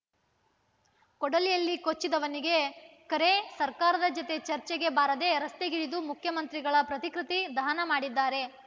ಕೊಡಲಿಯಲ್ಲಿ ಕೊಚ್ಚಿದವನಿಗೆ ಕರೆ ಸರ್ಕಾರದ ಜತೆ ಚರ್ಚೆಗೆ ಬಾರದೆ ರಸ್ತೆಗಿಳಿದು ಮುಖ್ಯಮಂತ್ರಿಗಳ ಪ್ರತಿಕೃತಿ ದಹನ ಮಾಡಿದ್ದಾರೆ